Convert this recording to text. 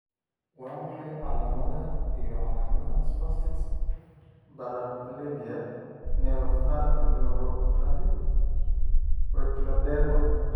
Waa maxay calaamadaha iyo calaamadaha spastic paraplegia neuropathy poikiloderma?